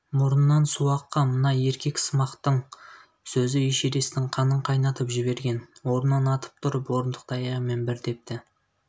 мұрнынан суы аққан мына еркексымақтың сөзі эшересттің қанын қайнатып жіберген орнынан атып тұрып орындықты аяғымен бір тепті